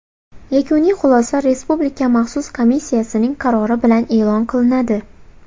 Yakuniy xulosa Respublika maxsus komissiyasining qarori bilan e’lon qilinadi.